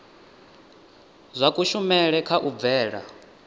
zwa kushumele kha u bvela